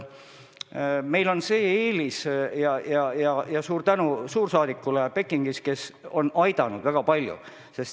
Meil on teatud eelis tänu Pekingi suursaadikule, kes on meid väga palju aidanud.